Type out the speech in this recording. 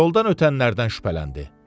Yoldan ötənlərdən şübhələndi.